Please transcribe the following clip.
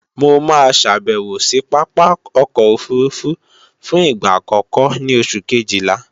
Mo máa ṣàbèwò sí Pápá ọkọ̀ òfurufú fún ìgbà àkọ́kọ́ ní oṣù kejìlá